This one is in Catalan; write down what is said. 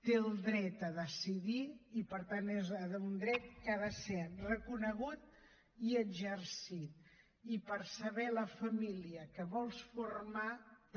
té el dret a decidir i per tant és un dret que ha de ser reconegut i exercit i per saber la família que vols formar també